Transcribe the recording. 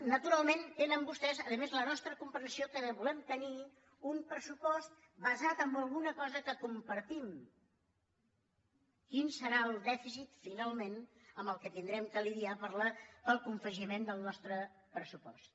naturalment tenen vostès a més la nostra comprensió que volem tenir un pressupost basat en alguna cosa que compartim quin serà el dèficit finalment amb què haurem de lidiar per al confegiment del nostre pressupost